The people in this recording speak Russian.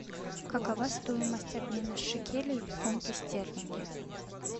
какова стоимость обмена шекелей в фунты стерлинги